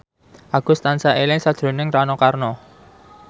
Agus tansah eling sakjroning Rano Karno